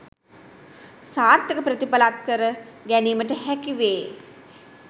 සාර්ථක ප්‍රතිඵල අත්කර ගැනීමට හැකි වේ